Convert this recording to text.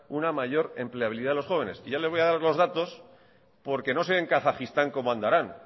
una mayor empleabilidad de los jóvenes y ya les voy a dar los datos porque no sé en kazajistán cómo andarán